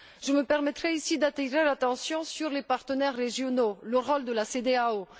Je me permettrais, ici, d'attirer l'attention sur les partenaires régionaux et la CEDEAO.